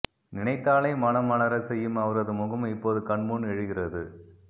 நினைத்தாலே மனம் மலரச் செய்யும் அவரது முகம் இப்போது கண்முன் எழுகிறது